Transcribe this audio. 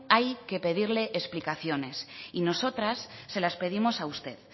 hay que pedir explicaciones y nosotras se las pedimos a usted